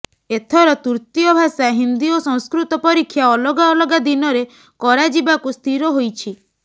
ଏଥର ତୃତୀୟ ଭାଷା ହିନ୍ଦୀ ଓ ସଂସ୍କୃତ ପରୀକ୍ଷା ଅଲଗାଅଲଗା ଦିନରେ କରାଯିବାକୁ ସ୍ଥିର ହୋଇଛି